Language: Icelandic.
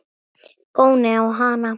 Góni á hana.